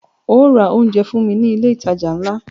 Óò ra oúnjẹ fún mí ní ilé ìtajà ńlá!